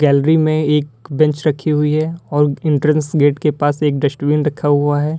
Gallery में एक bench रखी हुई है और एंट्रेंस गेट के पास एक डस्टबिन रखा हुआ है।